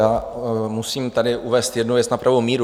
Já musím tady uvést jednu věc na pravou míru.